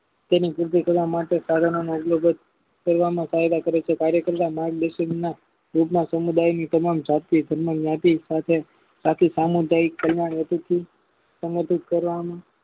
તેને સિદ્ધ કરવા માટે સાધનોનો કરવામાં ફાયદા કરે છે કાર્ય કરતા માલ માં રોજના સમુદાયની તમામ જતી નાટી આથી સામુદાયિક સંગઠિત કરવામાં